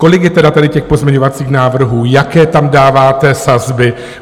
Kolik je tedy tady těch pozměňovacích návrhů, jaké tam dáváte sazby?